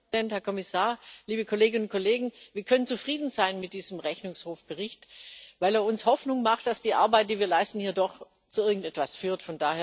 Herr Präsident, Herr Kommissar, liebe Kolleginnen und Kollegen! Wir können zufrieden sein mit diesem Rechnungshofbericht, weil er uns Hoffnung macht, dass die Arbeit, die wir hier leisten, doch zu irgendetwas führt.